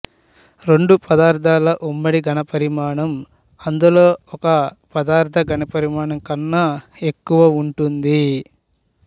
రెండు పదార్దాల ఉమ్మడి ఘనపరిమాణం అందులో ఒక పదార్థ ఘనపరిమాణం కన్నా ఎక్కువ ఉంటుంది